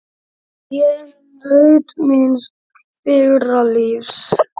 Ég naut míns fyrra lífs.